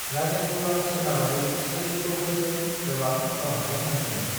राजेन्द्रआ सोनाबारि चालुक्य'फोरजों गोबां दावहाफोर नांदोंमोन।